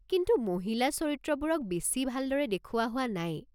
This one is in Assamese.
কিন্তু মহিলা চৰিত্ৰবোৰক বেছি ভালদৰে দেখুওৱা হোৱা নাই।